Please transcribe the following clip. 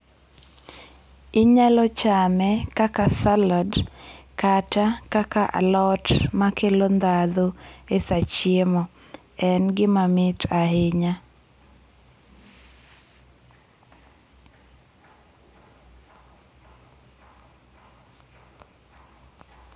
Inyalo chame kaka salad kata kaka alot makelo ndhadho e saa chiemo en gima mit ahinya.